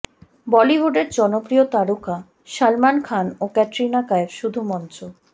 বলিউডের জনপ্রিয় তারকা সালমান খান ও ক্যাটরিনা কাইফ শুধু মঞ্চ